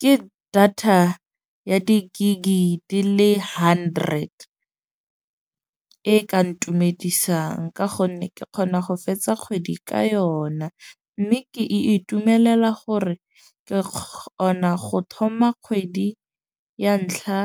Ke data ya di-gig di le hundred e ka ntumedisang. Ka gonne ke kgona go fetsa kgwedi ka yona. Mme ke e itumelela gore ke kgona go thoma kgwedi ya ntlha